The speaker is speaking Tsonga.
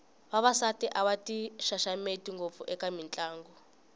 vavasati a va ti xaxameti ngopfu eka mitlangu